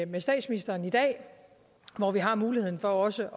med statsministeren i dag hvor vi har muligheden for også